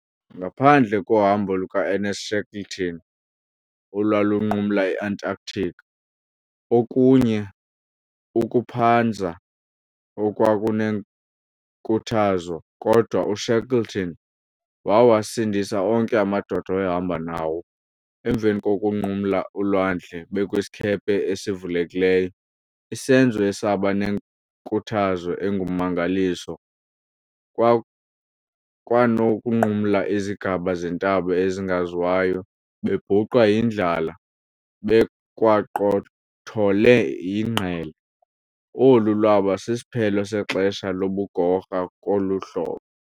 Ngaphandle kohambo luka Ernest Shackleton olwalunqumla i-Antarctic okunye ukuphanza okwanenkuthazo, kodwa u Shackleton wawasindisa onke amadoda awayehamba nawo, emva kokunqumla ulwandle bekwisikhephe esivulekileyo, isenzo esaba nenkuthazo engummangaliso, kwanokunqumla izigaba zentaba engaziwayo bebhuqwa yindlala bekwaqothole yinggele olu lwaba sisiphelo sexesha lobugorha kuhlolo.